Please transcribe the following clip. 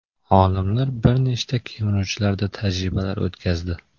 Olimlar bir nechta kemiruvchilarda tajribalar o‘tkazdi.